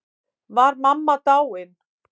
Var mamma dáin?